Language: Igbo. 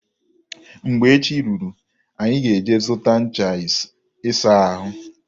Mgbe echi ruru, anyị ga-eje zụta ncha ịsa ahụ.